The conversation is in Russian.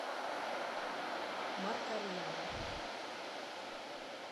маркарьян